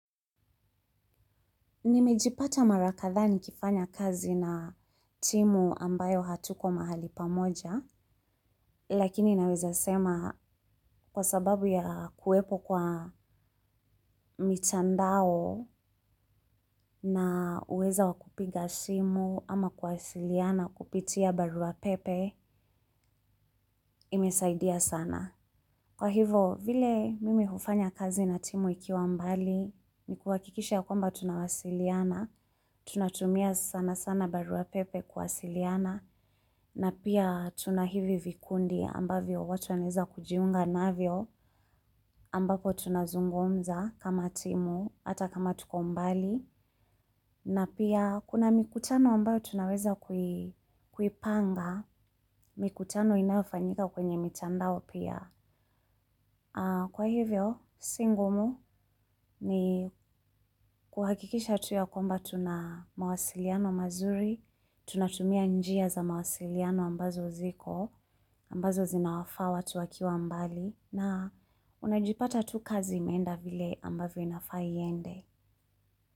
Nimejipata mara kadhaa nikifanya kazi na timu ambayo hatuko mahali pamoja, lakini naweza sema kwa sababu ya kuwepo kwa mitandao na uweza wakupiga simu ama kuwasiliana kupitia baruapepe imesaidia sana. Kwa hivyo, vile mimi hufanya kazi na timu ikiwa mbali, ni kuwakikisha ya kwamba tunawasiliana, tunatumia sana sana barua pepe kuwasiliana, na pia tuna hivi vikundi ambavyo watu wanaweza kujiunga navyo ambapo tunazungumza kama timu, hata kama tukombali, na pia kuna mikutano ambayo tunaweza kuipanga, mikutano inayofanyika kwenye mitandao pia. Kwa hivyo, si ngumu ni kuhakikisha tu ya kwamba tuna mawasiliano mazuri, tunatumia njia za mawasiliano ambazo ziko, ambazo zinawafawa tuwakiwa mbali, na unajipata tu kazi imenda vile ambavyo inafa iende.